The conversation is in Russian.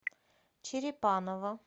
черепаново